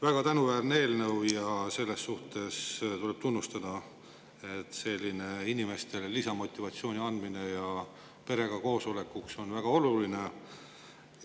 Väga tänuväärne eelnõu ja selles suhtes tuleb tunnustada, et selline inimestele lisamotivatsiooni andmine ja perega koosolemine on väga oluline.